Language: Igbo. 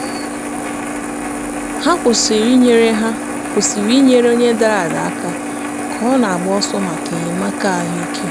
ha kwụsịrị inyere ha kwụsịrị inyere onye dara ada aka ka ọ na-agba ọsọ maka enyemaka ahụike.